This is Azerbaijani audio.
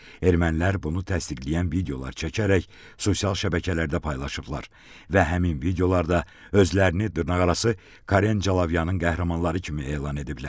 Ermənilər bunu təsdiqləyən videolar çəkərək sosial şəbəkələrdə paylaşıblar və həmin videolarda özlərini dırnaqarası Karen Calavyanın qəhrəmanları kimi elan ediblər.